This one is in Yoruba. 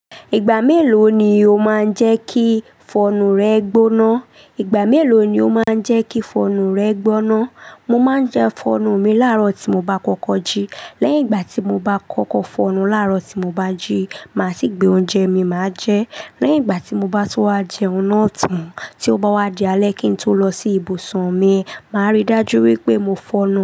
Ìgbà mélòó ni o máa ń jẹ́ kí fọnu rẹ gbóná? Ìgbà mélòó ni o máa ń jẹ́ kí fọnu rẹ gbóná? Mo máa ń jẹ ifọnu mi láàárọ̀ tí mo bá kọ́kọ́ jí. Léyìn ìgbà tí mo bá kókó fo enú laaro tí mo bá jí, máa sì gbé ounje mi máa je. Lẹ́yìn ìgbà tí mo bá ti wá jẹun náà tán, tí ó bá wá di alẹ́ kí n tó lọ sí ibùsùn mi, màá rí dájú wípé mo fọnu.